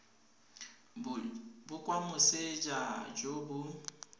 bo kwa moseja jo bo